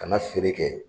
Ka na feere kɛ